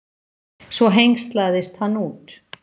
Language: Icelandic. Svo hengslaðist hann út.